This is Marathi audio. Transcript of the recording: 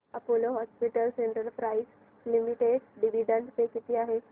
Apollo Hospitals Enterprise Limited dividend pay किती आहे